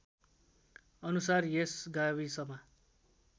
अनुसार यस गाविसमा